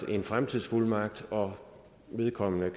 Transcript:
en fremtidsfuldmagt og vedkommende